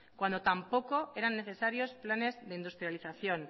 cuando tampoco eran necesarios planes de industrialización